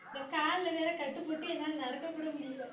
இந்தக் கால்ல வேற கட்டிப்போட்டு என்னால நடக்கக்கூட முடியலை